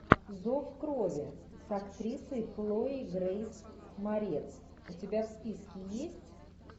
зов крови с актрисой хлоей грейс морец у тебя в списке есть